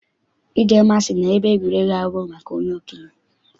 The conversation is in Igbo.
Ijemma sị na ebe egwuregwu abụghị maka okenye.